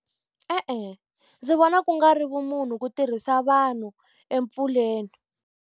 E-e ndzi vona ku nga ri vumunhu ku tirhisa vanhu empfuleni.